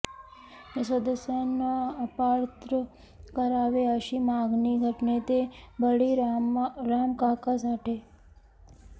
या सदस्यांना अपात्र करावे अशी मागणी गटनेते बळीरामकाका साठे